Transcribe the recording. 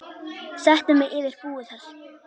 Settu mig yfir búið þar.